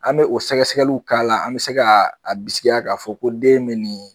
An bɛ o sɛgɛsɛgɛliw k'a la an bɛ se ka a bisigiya k'a fɔ ko den bɛ nin ye.